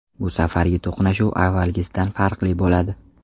Bu safargi to‘qnashuv avvalgisidan farqli bo‘ladi”.